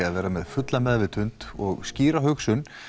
að vera með fulla meðvitund og skýra hugsun